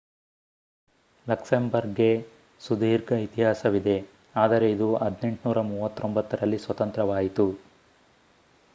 ಲಕ್ಸೆಂಬರ್ಗ್‌ಗೆ ಸುದೀರ್ಘ ಇತಿಹಾಸವಿದೆ ಆದರೆ ಇದು 1839 ರಲ್ಲಿ ಸ್ವತಂತ್ರವಾಯಿತು